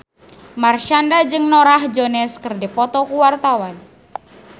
Marshanda jeung Norah Jones keur dipoto ku wartawan